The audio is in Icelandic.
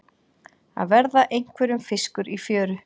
Að verða einhverjum fiskur í fjöru